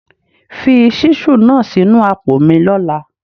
Fi ṣísù náà sínu àpò mi lọ́la.!